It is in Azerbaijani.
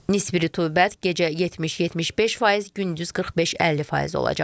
Nisbi rütubət gecə 70-75%, gündüz 45-50% olacaq.